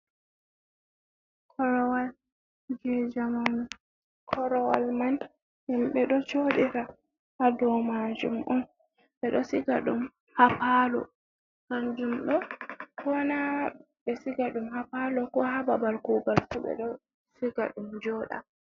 Korowal jei jamanu, korowal man himɓe ɗo jodira ha dow majum on, beɗo siga ɗum ha palo, kanjum ɗo kona ɓesiga ɗum ha palo, ko hababal kugal ɓeɗo siga ɗum joɗa.